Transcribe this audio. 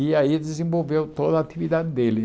E aí desenvolveu toda a atividade dele.